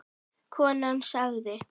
Konan sagði